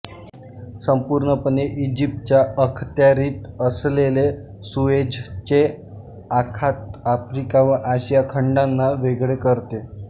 संपूर्णपणे इजिप्तच्या अखत्यारीत असलेले सुएझचे आखात आफ्रिका व आशिया खंडांना वेगळे करते